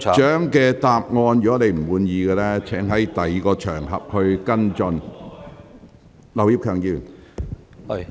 梁議員，如果你不滿意局長的答覆，請在其他場合跟進。